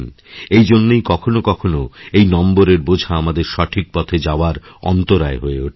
এইজন্যই কখনও কখনও এই নম্বরের বোঝা আমাদের সঠিক পথে যাওয়ার অন্তরায় হয়ে ওঠে